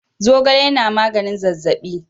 Zogale yana magnin zazzabi.